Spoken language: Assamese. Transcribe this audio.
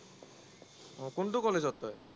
কোনটো কলেজত তই?